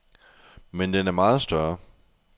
Men den er meget større.